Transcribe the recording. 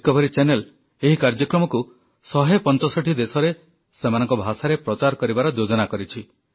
Discovery channel ଏହି କାର୍ଯ୍ୟକ୍ରମକୁ ଶହେ ପଞ୍ଚଷଠି ଦେଶରେ ସେମାନଙ୍କ ଭାଷାରେ ପ୍ରଚାର କରିବାର ଯୋଜନା କରିଛି